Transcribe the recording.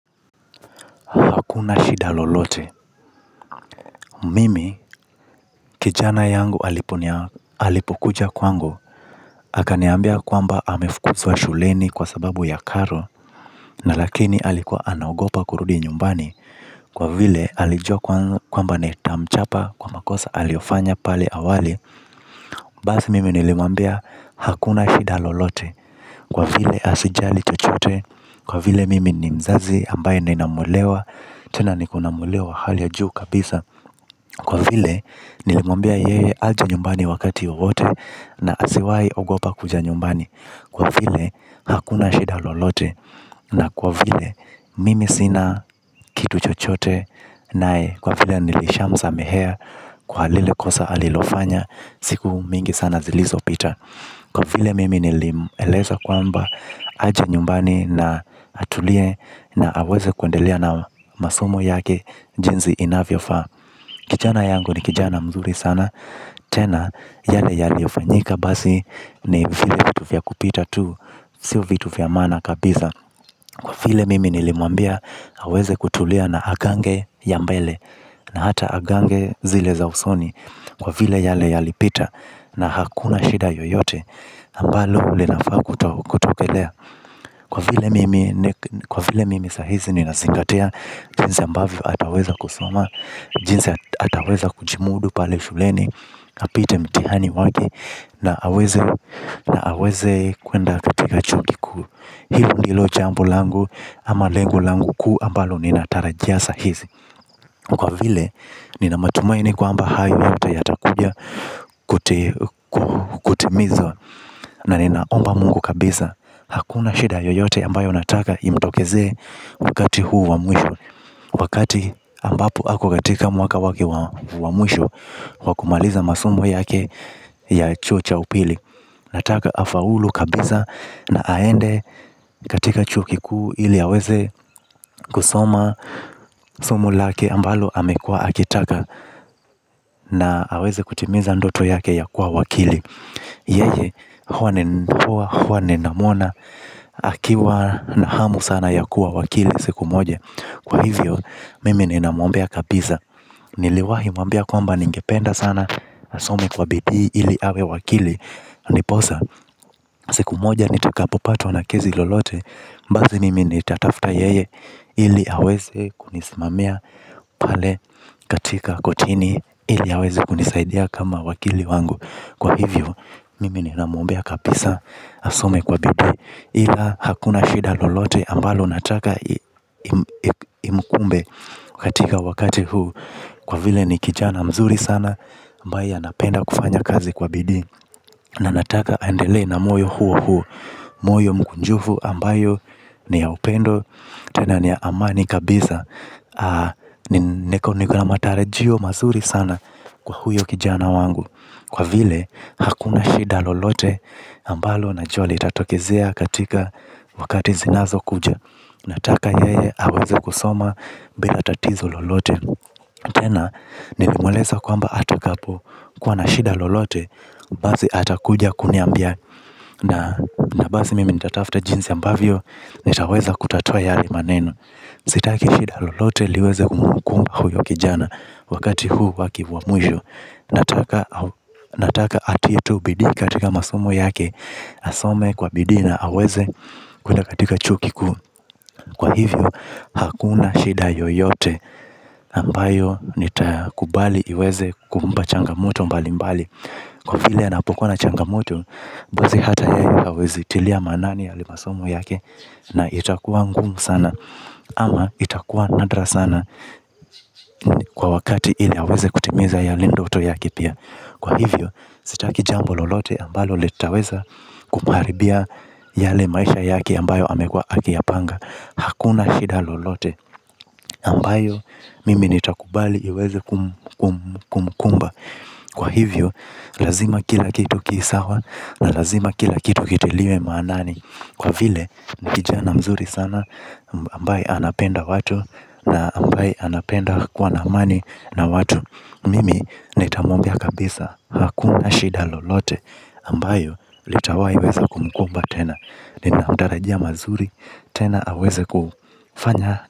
Hakuna shida lolote. Mimi kijana yangu alipokuja kwangu akaniambia kwamba amefukuzwa shuleni kwa sababu ya karo. Na lakini alikuwa anagopa kurudi nyumbani. Kwa vile alijua kwamba nitamchapa kwa makosa aliofanya pale awali. Basi mimi nilimuambia hakuna shida lolote. Kwa vile asijali chochote. Kwa vile mimi ni mzazi ambaye nina muelewa. Tena nikona muelewa wa hali ya juu kabisa. Kwa vile nilimuambia yeye ahe nyumbani wakati wowote na asiwai ogopa kuja nyumbani. Kwa vile hakuna shida lolote na kwa vile mimi sina kitu chochote naye. Kwa vile nilishamsamehea kwa lile kosa alilofanya siku mingi sana zilizopita. Kwa vile mimi nilimueleza kwamba aje nyumbani na atulie na aweze kuendelea na masomo yake jinsi inavyofaa. Kijana yangu ni kijana mzuri sana. Tena yale yale hufanyika basi ni vile vitu vya kupita tu. Sio vitu vya maana kabisa. Kwa vile mimi nilimwambia aweze kutulia na agange ya mbele. Na hata agange zile za usoni. Kwa vile yale yalipita na hakuna shida yoyote ambalo ule nafaa kutokelea. Kwa vile mimi sahizi nina zingatia. Jinsi ambavyo ataweza kusoma. Jinsi ataweza kujimudu pale shuleni. Apite mtihani wake. Na aweze kuenda katika chuo kikuu. Hilo ndilo jambo langu. Ama lengo langu kuu ambalo ninatarajia sahizi. Kwa vile nina matumaini kwamba hayo yote yatakuja kutimizwa na ninaomba mungu kabisa. Hakuna shida yoyote ambayo nataka imtokeze. Wakati huu wa mwisho wakati ambapo ako katika mwaka wake wa mwisho. Kwa kumaliza masomo yake ya chuo cha upili. Nataka afaulu kabisa na aende katika chuo kikui. Ili aweze kusoma somo lake ambalo amekua akitaka. Na aweze kutimiza ndoto yake ya kuwa wakili. Yeye huwa ni ndoa huwa ninamuona akiwa na hamu sana ya kuwa wakili siku moja kwa hivyo mimi ninamuombea kabisa. Niliwahi mwambia kwamba ningependa sana. Asome kwa bidii ili awe wakili. Ndiposa siku moja nitakapopatwa na kesi lolote basi mimi nitatafuta yeye. Ili aweze kunisimamia pale katika kotini. Ili aweze kunisaidia kama wakili wangu. Kwa hivyo mimi ninamuombea kabisa. Asome kwa bidii. Ila hakuna shida lolote ambalo nataka imkumbe katika wakati huu kwa vile ni kihana mzuri sana ambaye anapenda kufanya kazi kwa bidi. Na nataka andelee na moyo huo huo. Moyo mkunjufu ambayo ni ya upendo. Tena ni ya amani kabisa. Nikona matarajio mazuri sana kwa huyo kijana wangu. Kwa vile hakuna shida lolote ambalo najua litatokezea katika wakati zinazo kuja. Nataka yeye aweze kusoma bila tatizo lolote. Tena nilimweleza kwamba atakapo kuwa na shida lolote. Basi atakuja kuniambia na basi mimi nitatafuta jinsi ambavyo nitaweza kutatua yale maneno. Sitaki shida lolote liweze kumkumba huyo kijana. Wakati huu wake mwa mwisho. Nataka atie tu bidii katika masomo yake. Asome kwa bidii na aweze kuenda katika chuo kikuu. Kwa hivyo hakuna shida yoyote ambayo nitakubali iweze kumpa changamoto mbali mbali. Kwa vile anapokuwa na changamoto basi hata hawezi tilia manani yale masomo yake na itakuwa ngumu sana ama itakuwa nadra sana kwa wakati ili aweze kutimiza yale ndoto yake pia. Kwa hivyo sitaki jambo lolote ambalo litaweza kumharibia yale maisha yake ambayo amekuwa akiyapanga hakuna shida lolote ambayo mimi nitakubali iweze kumkumba. Kwa hivyo lazima kila kitu kisawa na lazima kila kitu kitiliwe maanani. Kwa vile ni kijana mzuri sana ambaye anapenda watu na ambaye anapenda kuwa na amani na watu. Mimi nitamuombea kabisa hakuna shida lolote ambayo litawai weza kumkumba tena. Ninamtarajia mazuri tena aweze kufanya.